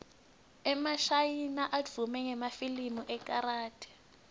emashayina advume ngemafilimu ekarathi